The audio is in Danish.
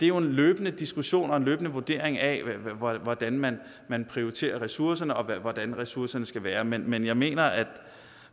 jo en løbende diskussion og en løbende vurdering af hvordan man man prioriterer ressourcerne og hvordan ressourcerne skal være men men jeg mener at